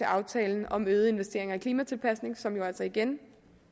aftalen om øgede investeringer i klimatilpasning som jo altså igen